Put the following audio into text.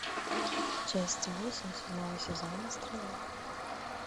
часть восемь седьмого сезона стрела